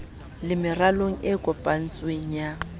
le meralong e kopantsweng ya